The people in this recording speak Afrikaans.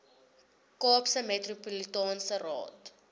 kaapse metropolitaanse raad